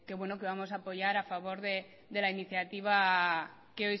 bueno que vamos a apoyar a favor de la iniciativa